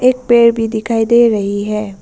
एक पेड भी दिखाई दे रही है।